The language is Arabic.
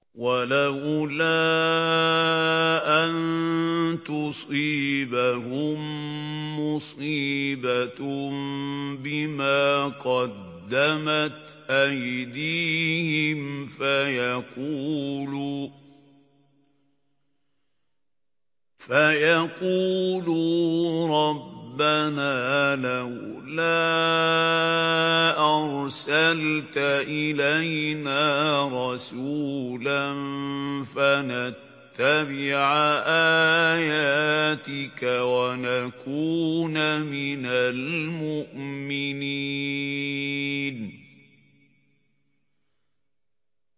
وَلَوْلَا أَن تُصِيبَهُم مُّصِيبَةٌ بِمَا قَدَّمَتْ أَيْدِيهِمْ فَيَقُولُوا رَبَّنَا لَوْلَا أَرْسَلْتَ إِلَيْنَا رَسُولًا فَنَتَّبِعَ آيَاتِكَ وَنَكُونَ مِنَ الْمُؤْمِنِينَ